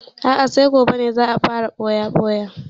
A'a sai gobe za a fara ɓoya-ɓoya.